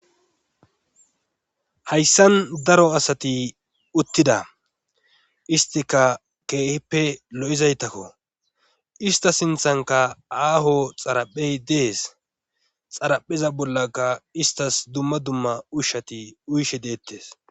Hayssan daro asati uttida istika keehippe lo'izaytakko ista sinthanka aaho xaraphey dees xarapheza bollaka istas dumma dumma ushati uyshe deettes.